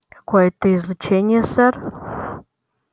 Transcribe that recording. какое-то излучение сэр